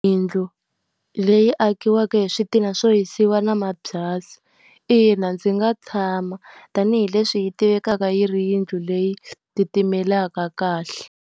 Yindlu leyi akiwaka hi switina swo hisiwa na mabyasi. Ina ndzi nga tshama, tanihileswi yi tivekaka yi ri yindlu leyi titimelaka kahle.